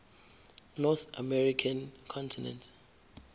north american continent